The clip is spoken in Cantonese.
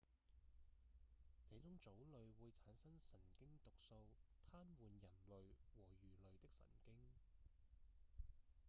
這種藻類會產生神經毒素癱瘓人類和魚類的神經